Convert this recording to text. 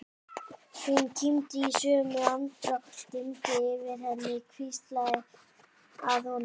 Hún kímdi í sömu andrá og dimmdi yfir henni og hvíslaði að honum